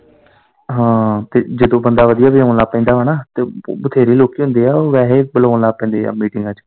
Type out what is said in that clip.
ਹਾਂ ਤੇ ਜਦੋਂ ਬੰਦਾ ਵਧੀਆ ਵਜਾਉਣ ਲੱਗ ਪੈਂਦਾ ਵਾ ਨਾ ਤਾਂ ਬਥੇਰੇ ਲੋਕੀਂ ਹੁੰਦੇ ਆ ਓਹ ਵੈਹੇ ਹੀ ਬੁਲਾਉਣ ਲੱਗ ਪੈਂਦੇ ਆ ਮੀਟਿੰਗਾ ਚ।